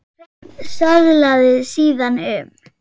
Hreinn söðlaði síðan um.